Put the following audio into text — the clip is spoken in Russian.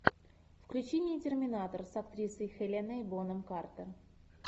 включи мне терминатор с актрисой хеленой бонем картер